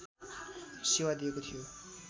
सेवा दिएको थियो